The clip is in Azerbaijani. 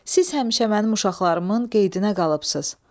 Siz həmişə mənim uşaqlarımın qeydinə qalıbsınız.